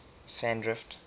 sandrift